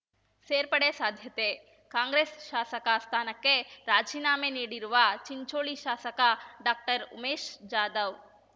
ಸೇರ್ಪಡೆ ಸಾಧ್ಯತೆ ಕಾಂಗ್ರೆಸ್ ಶಾಸಕ ಸ್ಥಾನಕ್ಕೆ ರಾಜೀನಾಮೆ ನೀಡಿರುವ ಚಿಂಚೋಳಿ ಶಾಸಕ ಡಾಕ್ಟರ್ ಉಮೇಶ್ ಜಾಧವ್